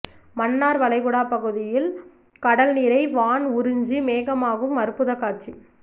மன்னார் வளைகுடா பகுதியில் கடல் நீரை வான் உறிஞ்சி மேகமாகும் அற்புத காட்சி